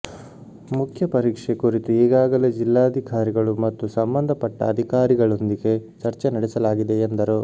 ಮುಖ್ಯ ಪರೀಕ್ಷೆ ಕುರಿತು ಈಗಾಗಲೇ ಜಿಲ್ಲಾಧಿಕಾರಿಗಳು ಮತ್ತು ಸಂಬಂಧಪಟ್ಟ ಅಧಿಕಾರಿಗಳೊಂದಿಗೆ ಚರ್ಚೆ ನಡೆಸಲಾಗಿದೆ ಎಂದರು